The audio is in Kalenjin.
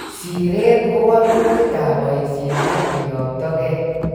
Siiret ko walutikap boisiet ak keyoktogei